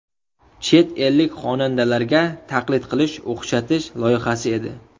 Chet ellik xonandalarga taqlid qilish, o‘xshatish loyihasi edi.